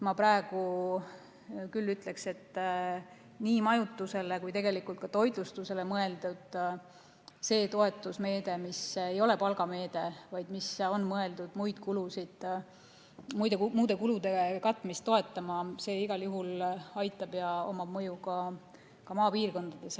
Ma praegu küll ütleksin, et see nii majutusele kui tegelikult ka toitlustusele mõeldud toetusmeede, mis ei ole palgameede, vaid mis on mõeldud muude kulude katmist toetama, igal juhul aitab ja omab mõju ka maapiirkondades.